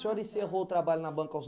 O senhor encerrou o trabalho na banca aos